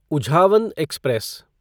Uzhavan express